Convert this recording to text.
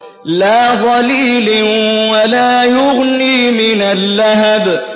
لَّا ظَلِيلٍ وَلَا يُغْنِي مِنَ اللَّهَبِ